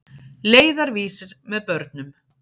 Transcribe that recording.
Leiðarvísir með börnum.